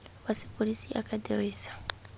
wa sepodisi a ka dirisa